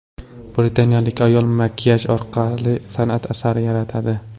Britaniyalik ayol makiyaj orqali san’at asari yaratadi .